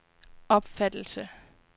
opfattelse